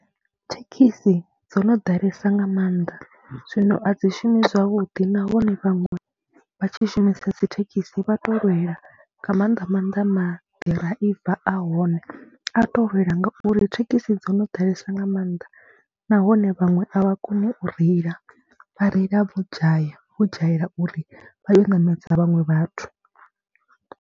Thekhisi dzo no ḓalesa nga maanḓa zwino a dzi shumi zwavhuḓi nahone vhaṅwe vha tshi shumisa dzi thekhisi vha tou lwela nga maanḓa maanḓa maḓiraiva a hone a tou lwela ngauri thekhisi dzo no ḓalesa nga maanḓa nahone vhaṅwe a vha koni u reila, vha reila vho dzhaya, vho dzhayela uri vha ye u ṋamedza vhaṅwe vhathu.